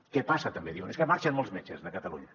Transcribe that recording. què passa també diuen és que marxen molts metges de catalunya